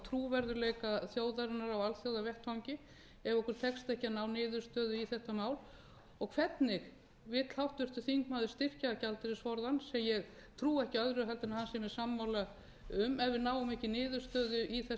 trúverðugleika þjóðarinnar á alþjóðavettvangi ef okkur tekst ekki að ná niðurstöðu í þetta mál og hvernig vill háttvirtur þingmaður styrkja gjaldeyrisforðann sem ég trúi ekki öðru en hann sé mér sammála um ef við náum ekki niðurstöðu í þessi